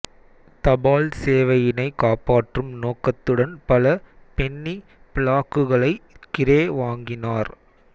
தபால் சேவையினை காப்பாற்றும் நோக்கத்துடன் பல பென்னி பிளாக்குகளை கிரே வாங்கினார்